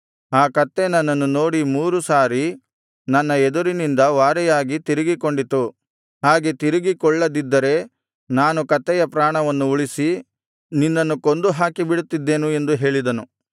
ಆ ಕತ್ತೆ ನನ್ನನ್ನು ನೋಡಿ ಮೂರು ಸಾರಿ ನನ್ನ ಎದುರಿನಿಂದ ವಾರೆಯಾಗಿ ತಿರುಗಿಕೊಂಡಿತು ಹಾಗೆ ತಿರುಗಿಕೊಳ್ಳದಿದ್ದರೆ ನಾನು ಕತ್ತೆಯ ಪ್ರಾಣವನ್ನು ಉಳಿಸಿ ನಿನ್ನನ್ನು ಕೊಂದು ಹಾಕಿಬಿಡುತ್ತಿದ್ದೆನು ಎಂದು ಹೇಳಿದನು